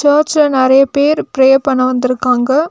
சர்ச்சுல நெறையா பேர் பிரே பண்ண வந்திருக்காங்க.